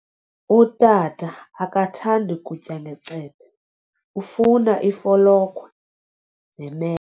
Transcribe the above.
Utata akathandi kutya ngecephe, ufuna ifolokhwe neme.